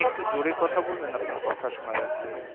একটু জোরে কথা বলবেন আপনার কথা শোনা যাচ্ছে না